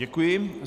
Děkuji.